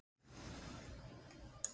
Staðan var þá orðin vænleg.